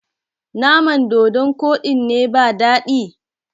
naman dodon Koɗin ne ba dadi?